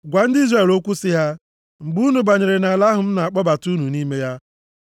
“Gwa ndị Izrel okwu sị ha, ‘mgbe unu banyere nʼala ahụ m na-akpọbata unu nʼime ya,